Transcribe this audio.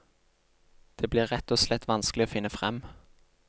Det blir rett og slett vanskelig å finne frem.